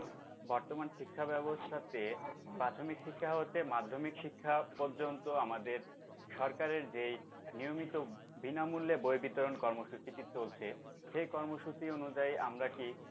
বর্তমান শিক্ষা ব্যাবস্থাতে প্রাথমিক শিক্ষা হতে মাধ্যমিক শিক্ষা পর্যন্ত আমাদের সরকারের যেই নিয়মিত বিনামূল্যে বই বিতরণ কর্মসূচিটি চলছে সেই কর্মসূচি অনুযায়ী আমরা কি